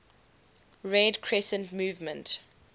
red crescent movement